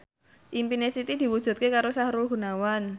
impine Siti diwujudke karo Sahrul Gunawan